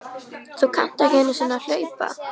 Þú kannt ekki einu sinni að hlaupa